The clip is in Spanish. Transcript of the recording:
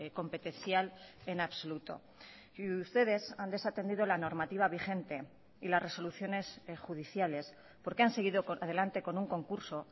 competencial en absoluto y ustedes han desatendido la normativa vigente y las resoluciones judiciales porque han seguido adelante con un concurso